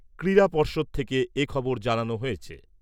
ক্রীড়া পর্ষদ থেকে এখবর জানানো হয়েছে।